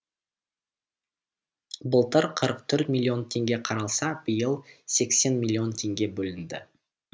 былтыр қырық төрт миллион теңге қаралса биыл сексен миллион теңге бөлінді